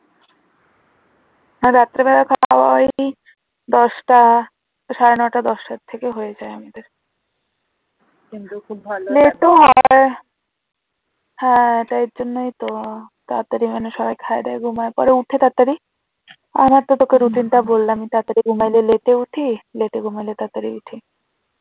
হ্যাঁ, ওটার জন্যই তো তাড়াতাড়ি মানে সবাই খাই দাই ঘুমিয়ে পড়ে উঠি তাড়াতাড়ি আমার তো তোকে দুদিন পর বললাম তো তাড়াতাড়ি ঘুমায় ঘুমাইলে late উঠি late ঘুমাইলে তাড়াতাড়ি উঠি